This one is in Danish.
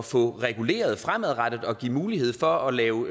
få reguleret fremadrettet og give mulighed for at lave